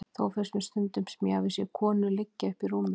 Þó finnst mér stundum sem ég hafi séð veika konu liggja uppi í rúmi.